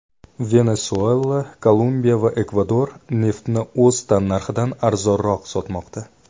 Venesuela, Kolumbiya va Ekvador neftni o‘z tannarxidan arzonroq sotmoqda.